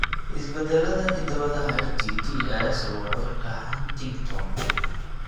Isbeddellada hidda-wadaha HTT ayaa sababa cudurka Huntington.